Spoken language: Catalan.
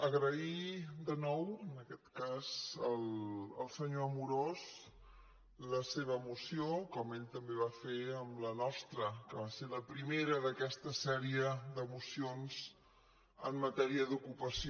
agrair de nou en aquest cas al senyor amorós la seva moció com ell també va fer amb la nostra que va ser la primera d’aquesta sèrie de mocions en matèria d’ocupació